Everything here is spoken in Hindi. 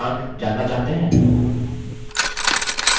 क्या आप अपने typing session के प्राप्तांक जानना चाहते हैं